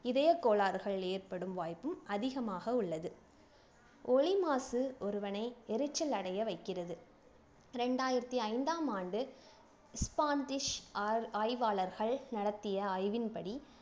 இதயக் கோளாறுகளில் ஏற்படும் வாய்ப்பும் அதிகமாக உள்ளது ஒலி மாசு ஒருவனை எரிச்சல் அடைய வைக்கிறது இரண்டாயிரத்தி ஐந்தாம் ஆண்டு ஆர் ஆய்வாளர்கள் நடத்திய ஆய்வின்படி